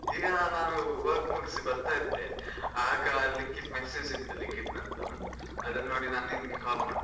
ಈಗ ನಾನು work ಮುಗ್ಸಿ ಬರ್ತಾ ಇದ್ದೆ, ಆಗ ಲಿಖಿತ್ message ಇತ್ತು ಲಿಖಿತ್ನದ್ದು. ಅದನ್ನು ನೋಡಿ ನಾನ್ ನಿಂಗೆ call ಮಾಡಿದ್ದು.